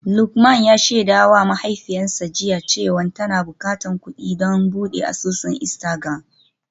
Lukman ya shaidawa mahaifiyarsa jiya cewa tana bukatar kudi don bude asusun Instagram.